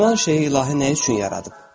Filan şeyi ilahi nə üçün yaradıb?